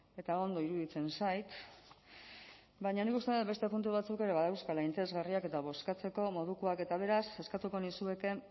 eta ondo iruditzen zait baina nik uste dut beste puntu batzuk ere badauzkala interesgarriak eta bozkatzeko modukoak eta beraz eskatuko nizueke